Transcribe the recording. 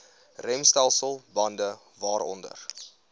remstelsel bande waaronder